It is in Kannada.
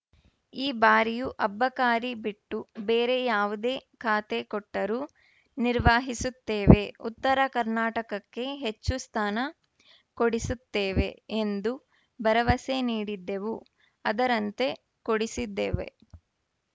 ಈ ಬಾರಿಯೂ ಅಬಕಾರಿ ಬಿಟ್ಟು ಬೇರೆ ಯಾವುದೇ ಖಾತೆ ಕೊಟ್ಟರೂ ನಿರ್ವಹಿಸುತ್ತೇವೆ ಉತ್ತರ ಕರ್ನಾಟಕಕ್ಕೆ ಹೆಚ್ಚು ಸ್ಥಾನ ಕೊಡಿಸುತ್ತೇವೆ ಎಂದು ಭರವಸೆ ನೀಡಿದ್ದೆವು ಅದರಂತೆ ಕೊಡಿಸಿದ್ದೇವೆ